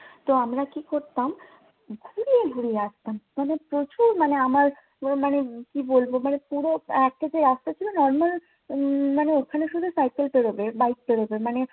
তো আমরা কি করতাম? ঘুরিয়ে ঘুরিয়ে আসতাম। মানে প্রচুর মানে আমার পুরো মানে কি বলবো মানে পুরো রাস্তা ছিল না। normal মানে ওখানে শুধু cycle পেড়োবে bike পেড়োবে। মানে